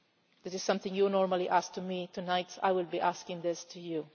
This is something you normally ask of me, but tonight I will be asking this of you.